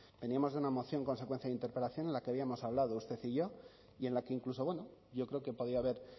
veníamos de una moción consecuencia de interpelación en la que habíamos hablado usted y yo y en la que incluso bueno yo creo que podía haber